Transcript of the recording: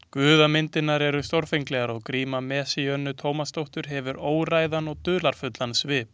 Guðamyndirnar eru stórfenglegar og gríma Messíönu Tómasdóttur hefur óræðan og dularfullan svip.